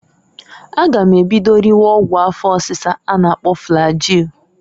A ga m ebido riwe ọgwụ afọ ọsisa a na- akpọ flagil.